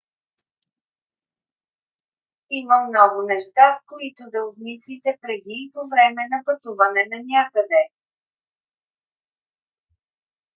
има много неща които да обмислите преди и по-време на пътуване нанякъде